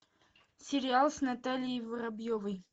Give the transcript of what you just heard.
сериал с натальей воробьевой